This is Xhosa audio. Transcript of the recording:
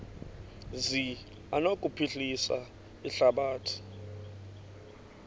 zi anokuphilisa ihlabathi